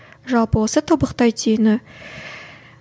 жалпы осы тобықтай түйіні